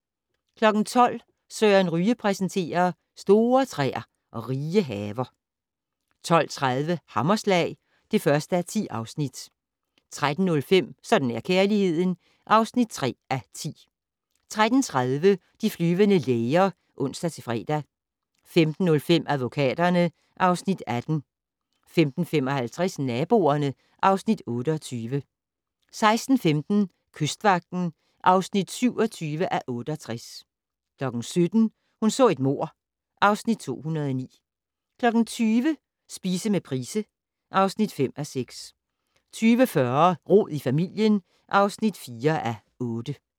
12:00: Søren Ryge præsenterer: Store træer og rige haver 12:30: Hammerslag (1:10) 13:05: Sådan er kærligheden (3:10) 13:30: De flyvende læger (ons-fre) 15:05: Advokaterne (Afs. 18) 15:55: Naboerne (Afs. 28) 16:15: Kystvagten (27:68) 17:00: Hun så et mord (Afs. 209) 20:00: Spise med Price (5:6) 20:40: Rod i familien (4:8)